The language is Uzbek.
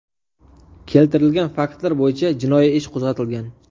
Keltirilgan faktlar bo‘yicha jinoiy ish qo‘zg‘atilgan.